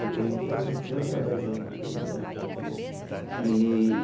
Fiquei aproximadamente oito a dez anos no clube. É e